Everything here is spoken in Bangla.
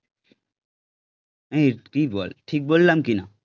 এই তুই বল ঠিক বললাম কি না